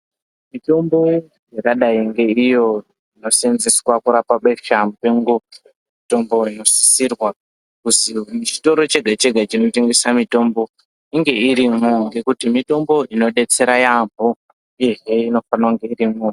Mitombo iyo yakadai ngeinoseenzeswa kurapa besha mupengo mitombo inosisirwa kuzi muchitoro chega chega chinotengesa mitombo inge irimwo ngekuti mitombo inodetsera yambo uye inofana kunge irimo.